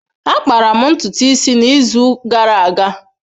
Akpara m ntutu isi n’izu gara aga.